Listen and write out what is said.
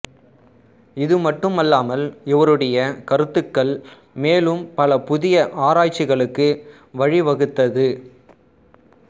இது மட்டுமல்லாமல் இவருடைய கருத்துக்கள் மேலும் பல புதிய ஆராய்ச்சிகளுக்கு வழிவகுத்தது